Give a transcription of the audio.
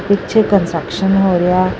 ਪਿੱਛੇ ਕੰਜਕਸ਼ਨ ਹੋ ਰਿਹਾ।